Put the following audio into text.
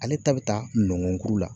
Ale ta be taa nɔngɔnkuru la.